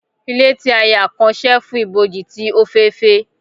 Ile ti a ya kan cheerful iboji ti ofeefee.